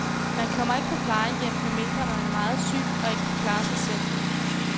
Man kommer ikke på plejehjem, medmindre man er meget syg og ikke kan klare sig selv.